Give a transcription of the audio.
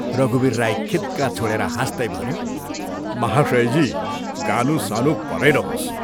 रघुवीर राई खित्का छोडेर हाँस्तै भन्यो, " महाशयजी, गानु सानु परै रहोस्।